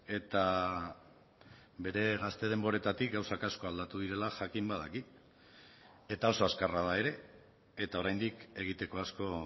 eta bere gazte denboretatik gauzak asko aldatu direla jakin badaki eta oso azkarra da ere eta oraindik egiteko asko